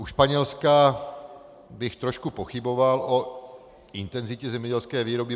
U Španělska bych trošku pochyboval o intenzitě zemědělské výroby.